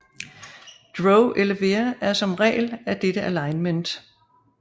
Drow elevere er som regel af dette alignment